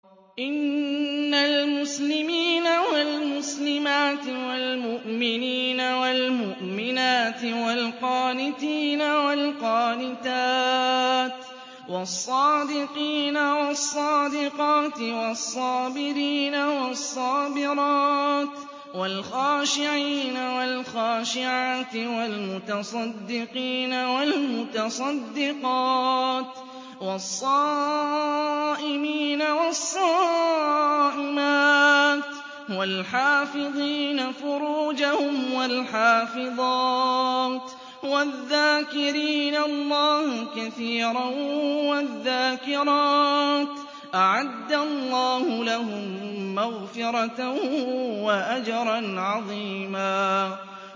إِنَّ الْمُسْلِمِينَ وَالْمُسْلِمَاتِ وَالْمُؤْمِنِينَ وَالْمُؤْمِنَاتِ وَالْقَانِتِينَ وَالْقَانِتَاتِ وَالصَّادِقِينَ وَالصَّادِقَاتِ وَالصَّابِرِينَ وَالصَّابِرَاتِ وَالْخَاشِعِينَ وَالْخَاشِعَاتِ وَالْمُتَصَدِّقِينَ وَالْمُتَصَدِّقَاتِ وَالصَّائِمِينَ وَالصَّائِمَاتِ وَالْحَافِظِينَ فُرُوجَهُمْ وَالْحَافِظَاتِ وَالذَّاكِرِينَ اللَّهَ كَثِيرًا وَالذَّاكِرَاتِ أَعَدَّ اللَّهُ لَهُم مَّغْفِرَةً وَأَجْرًا عَظِيمًا